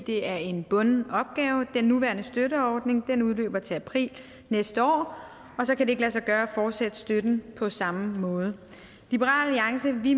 det er en bunden opgave den nuværende støtteordning udløber til april næste år og så kan det ikke lade sig gøre at fortsætte støtten på samme måde i liberal alliance mener vi